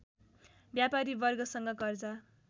व्यापारी वर्गसँग कर्जा